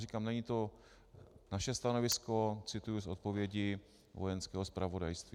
Říkám, není to naše stanovisko, cituji z odpovědi Vojenského zpravodajství.